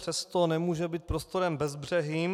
Přesto nemůže být prostorem bezbřehým.